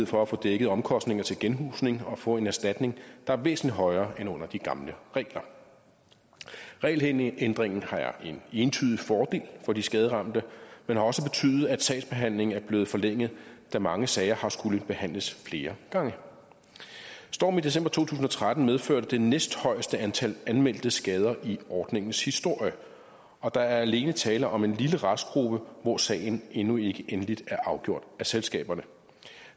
for at få dækket omkostninger til genhusning og få en erstatning der er væsentlig højere end under de gamle regler regelændringen er en entydig fordel for de skaderamte men har også betydet at sagsbehandlingen er blevet forlænget da mange sager har skullet behandles flere gange stormen i december to tusind og tretten medførte det næsthøjeste antal anmeldte skader i ordningens historie og der er alene tale om en lille restgruppe hvor sagen endnu ikke er endeligt afgjort af selskaberne